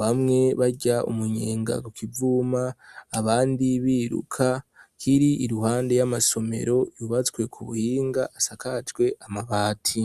bamwe bajya umunyenga kivuma abandi biruka kiri iruhande y'amasomero yubatswe ku buhinga asakajwe amabati.